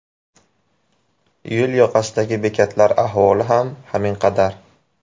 Yo‘l yoqasidagi bekatlar ahvoli ham haminqadar.